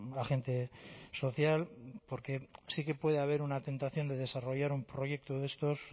agente social porque sí que puede haber una tentación de desarrollar un proyecto de estos